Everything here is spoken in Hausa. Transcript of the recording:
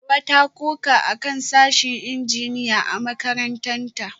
Hawa ta koka akan sashen Injiniya a makarantarta